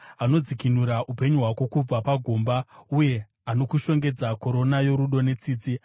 anodzikinura upenyu hwako kubva pagomba, uye anokushongedza korona yorudo netsitsi,